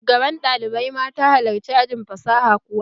Shugaban ɗalibai mata halarci ajin fasaha kuwa?